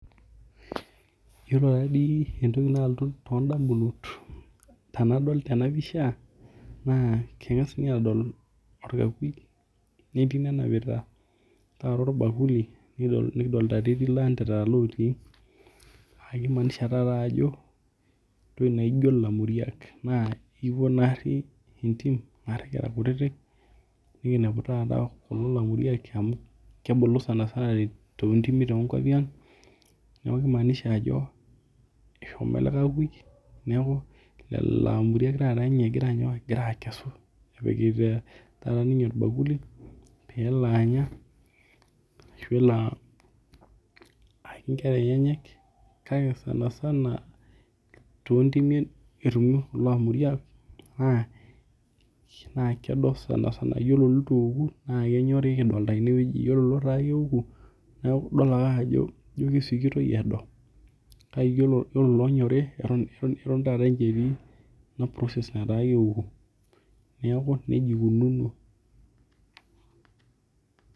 Yiolo tadii entoki nalotu tondamunot tanadol tenapisha nakengasi adol orakuyia netii nenapita orbakuli likidolita etii landerera otii ajobentoki naijo lainguriak na ekipuo naoshi entim nashi kira kutitik niki nepu kulo lainguriak amu kebulu sanasana tontimi tenkopang neaku kimaanisha ajo eshomo elekakuyua neaku loloainguriak egira anya egira akesu epikita orbakuli pelo anya ashu elo ayaki nkera enyenak kake sanasana tontimi etumi kulo ainguriak na kedo sanasana ore litueoku na kenyori ,iyolo lataa keoku idolbake ajo ijo kesikitoi edo kake yiolo loonyori ata Ake etii ina process nataa keoku neaku nejia ikunono.